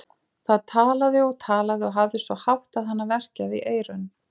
Það talaði og talaði og hafði svo hátt að hana verkjaði í eyrun.